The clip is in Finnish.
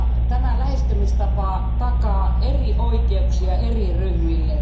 Tämä lähestymistapa takaa eri oikeuksia eri ryhmille.